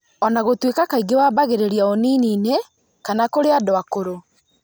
ona gũtuĩka kaingĩ wambagĩrĩria ũnini-inĩ kana kũrĩ andũ akũrũ